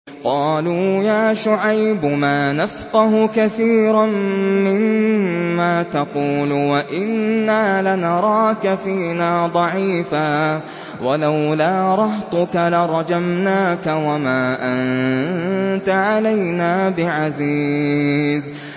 قَالُوا يَا شُعَيْبُ مَا نَفْقَهُ كَثِيرًا مِّمَّا تَقُولُ وَإِنَّا لَنَرَاكَ فِينَا ضَعِيفًا ۖ وَلَوْلَا رَهْطُكَ لَرَجَمْنَاكَ ۖ وَمَا أَنتَ عَلَيْنَا بِعَزِيزٍ